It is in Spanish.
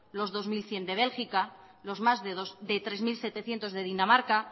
los dos mil cien de bélgica los más de tres mil setecientos de dinamarca